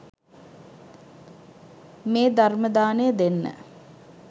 මේ ධර්ම දානය දෙන්න